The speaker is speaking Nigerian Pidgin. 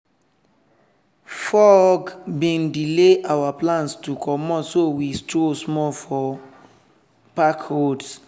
fog bin delay our plans to comot so we stroll small for park roads.